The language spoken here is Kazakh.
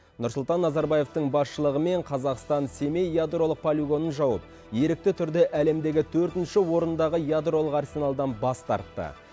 нұрсұлтан назарбаевтың басшылығымен қазақстан семей ядролық полигонын жауып ерікті түрде әлемдегі төртінші орындағы ядролық арсеналдан бас тартты